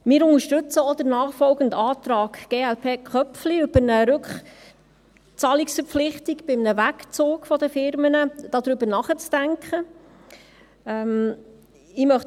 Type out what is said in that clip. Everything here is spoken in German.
Wir unterstützen auch den nachfolgenden Antrag glp/Köpfli, wonach über eine Rückzahlungsverpflichtung bei einem Wegzug der Unternehmen nachzudenken ist.